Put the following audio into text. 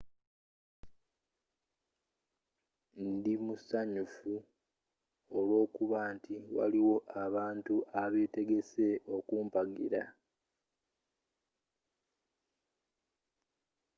ndi musanyufu olw'okuba nti waliwo abantu abeetegese okumpagira